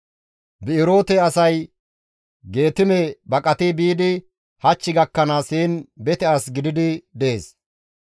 Bi7eroote asay Geetime baqati biidi hach gakkanaas heen bete as gididi dees.